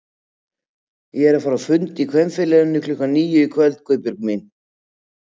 Ég er að fara á fund í Kvenfélaginu klukkan níu í kvöld Guðbjörg mín